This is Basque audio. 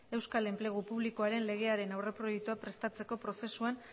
euskal enplegu publikoaren legearen aurreproiektua prestatzeko prozesuan